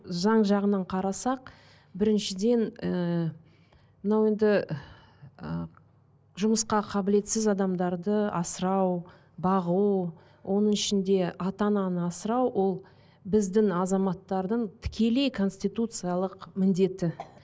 заң жағынан қарасақ біріншіден ііі мынау енді ы жұмысқа қабілетсіз адамдарды асырау бағу оның ішінде ата ананы асырау ол біздің азаматтардың тікелей конституциялық міндеті